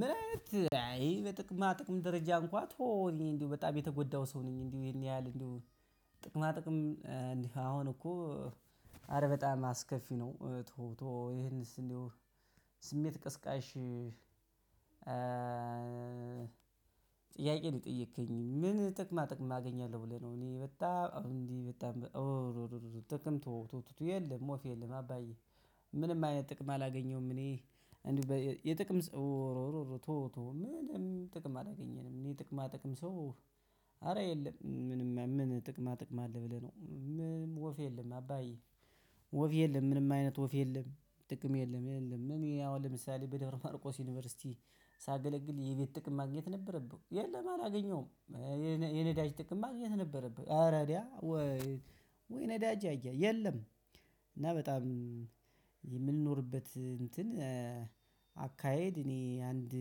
ምንአይነት አይ በጥቅማ ጥቅም ደረጃ እንኳን ተወው እኔ እንደው በጣም የተጎዳሁ ሰው ነኝ እንዴው ይሄን ያህል እንዴው ጥቅማ ጥቅም እንዲህ አሁን እኮ አረ በጣም አስከፊ ነው። ተው ተው ይሄንስ እንደው ስሜት ቀስቀሽ። ጥያቄ ለጠየከኝ ምን ጥቅማ ጥቅም አገኛለሁ ብለህ ነው? እኔ በጣም እንዲህ በጣም ጥቅም ትወው የለም ወፍ የለም አባዬ። ምንም አይነት ጥቅም አላገኘሁም እኔ እንዲሁ የጥቅም ተወው ተወው ምንም ጥቅም አላገኘንም። የጥቅማ ጥቅም ሰው አረ የለም ምንም ምን ጥቅማ ጥቅም አለ ብለህ ነው? ምንም ወፍ የለም አባዬ። ወፍ የለም ምንም አይነት ወፍ የለም ጥቅም የለም የለም። ምን ያው ለምሳሌ በደብረ ማርቆስ ዩኒቨርሲቲ ሳገለግል የቤት ጥቅም ማግኘት ነበረብኝ የለም አላገኘሁም። የነዳጅ ጥቅም ማግኘት ነበረብኝ ኧረ ወይ ነዳጅ አያ የለም። እና በጣም የምንኖርበት እንትን አካሄድ እኔ አንድ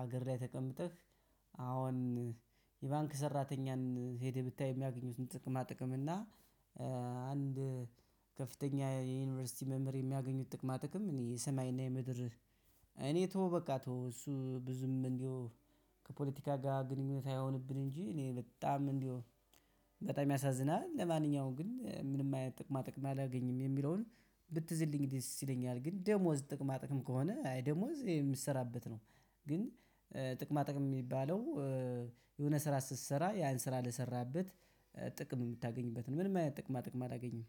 ሀገር ላይ ተቀምጠህ አሁን የባንክ ሰራተኛን ሄደህ ብታይ የሚያገኙትን ጥቅማ ጥቅም እና አንድ ከፍተኛ የዩኒቨርሲቲ መምህር የሚያገኙት ጥቅማ ጥቅም። እኔ ሰማይና የምድር እኔ ተው በቃ ተው እሱ ብዙም እንደው ከፖለቲካ ጋር ግንኙነት አይሆንብን እንጂ እኔ በጣም እንዴው በጣም ያሳዝናል። ለማንኛውም ግን ምንም አይነት ጥቅማ ጥቅም አላገኝም የሚለውን ብትዝልኝ ደስ ይለኛል። ግን ደሞዝ ጥቅማ ጥቅም ከሆነ አይ ደሞዝ የምትሰራበት ነው። ግን ጥቅማ ጥቅም እሚባለው የሆነ ስራ ስትሰራ ያን ስራ ለሰራበት ጥቅም የምታገኝበት ነው። ምንም አይነት ጥቅማ ጥቅም አላገኝም